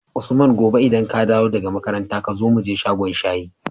usman gobe idan kadawo da ka makaranta kazo muje shagon shayi